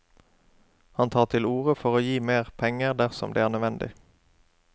Han tar til orde for å gi mer penger dersom det er nødvendig.